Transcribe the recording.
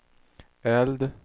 eld